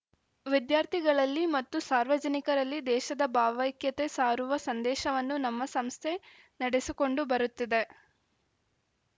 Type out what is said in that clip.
ವಿದ್ಯಾರ್ಥಿಗಳಲ್ಲಿ ಮತ್ತು ಸಾರ್ವಜನಿಕರಲ್ಲಿ ದೇಶದ ಭಾವೈಕ್ಯತೆ ಸಾರುವ ಸಂದೇಶವನ್ನು ನಮ್ಮ ಸಂಸ್ಥೆ ನಡೆಸಿಕೊಂಡು ಬರುತ್ತಿದೆ